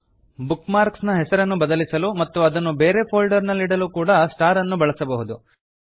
book mark ನ ಹೆಸರನ್ನು ಬದಲಿಸಲು ಮತ್ತು ಅದನ್ನು ಬೇರೆ ಫೋಲ್ಡರ್ ನಲ್ಲಿಡಲೂ ಕೂಡಾ ಸ್ಟಾರ್ ಅನ್ನು ಬಳಸಬಹುದು